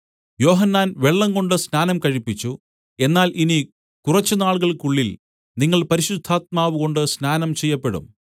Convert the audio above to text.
യോഹന്നാൻ വെള്ളംകൊണ്ട് സ്നാനം കഴിപ്പിച്ചു എന്നാല്‍ ഇനി കുറച്ചുനാളുകൾക്കുള്ളിൽ നിങ്ങൾ പരിശുദ്ധാത്മാവുകൊണ്ട് സ്നാനം ചെയ്യപ്പെടും